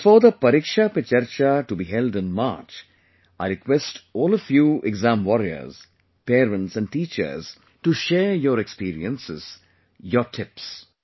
But before the 'Pariksha Pe Charcha' to be held in March, I request all of you exam warriors, parents and teachers to share your experiences, your tips